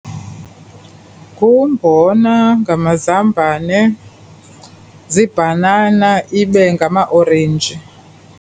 Ngumbona, ngamazambane, ziibanana ibe ngamaorenji.